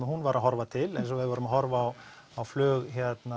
hún var að horfa til eins og ef við værum að horfa á flug